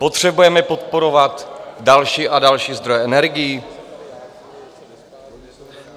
Potřebujeme podporovat další a další zdroje energií?